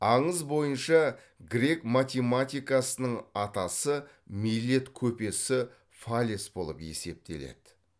аңыз бойынша грек математикасының атасы милет көпесі фалес болып есептеледі